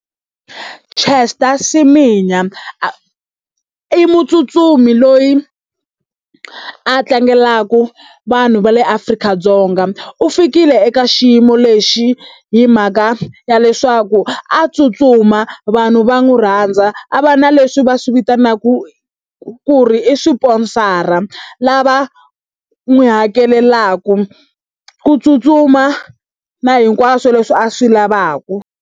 Caster Semenya a i mutsutsumi loyi a tlangelaka vanhu va le Afrika-Dzonga u fikile eka xiyimo lexi hi mhaka ya leswaku a tsutsuma vanhu va n'wi rhandza a va na leswi va swi vitanaka ku ri i swiponsara lava n'wi hakelelaka ku tsutsuma na hinkwaswo leswi a swi lavaka.